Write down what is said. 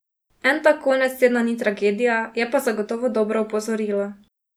En tak konec tedna ni tragedija, je pa zagotovo dobro opozorilo.